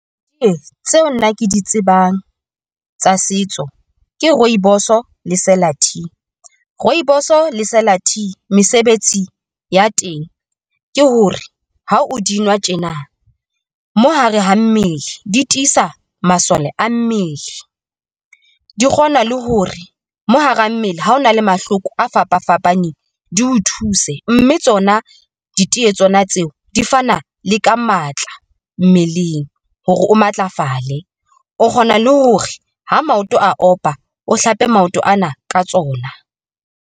Tseo nna ke di tsebang tsa setso ke Rooibos-o le Sela Tea, Rooibos-o le Sela Tea mesebetsi ya teng ke hore ha o di nwa tjena mo hare ha mmele di tisa masole a mmele, di kgona le hore mo hara mmele. Ha ho na le mahloko a fapafapaneng di o thuse, mme tsona di tiye tsona tseo di fana le ka matla mmeleng hore o matlafale, o kgona le hore ho maoto a opa, o hlape maoto ana ka tsona.